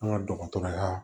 An ka dɔgɔtɔrɔya